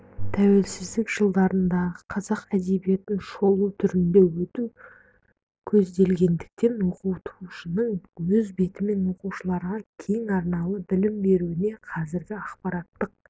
тәуелсіздік жылдарындағы қазақ әдебиетін шолу түрінде өту көзделгендіктен оқытушының өз бетімен оқушыларға кең арналы білім беруіне қазіргі ақпараттық